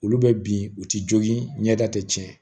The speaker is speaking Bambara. Olu bɛ bin u ti jogin ɲɛda tɛ tiɲɛ